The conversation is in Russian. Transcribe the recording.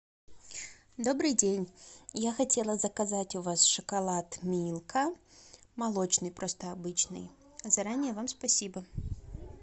добрый день я хотела заказать у вас шоколад милка молочный просто обычный заранее вам спасибо